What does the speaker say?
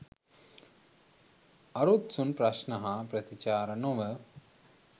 අරුත්සුන් ප්‍රශ්න හා ප්‍රතිචාර නොව